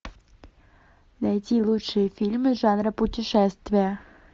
найти лучшие фильмы жанра путешествия